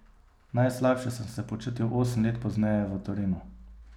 Najslabše sem se počutil osem let pozneje v Torinu.